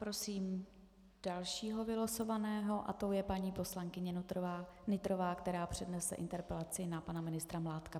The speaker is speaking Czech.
Prosím dalšího vylosovaného a tou je paní poslankyně Nytrová, která přednese interpelaci na pana ministra Mládka.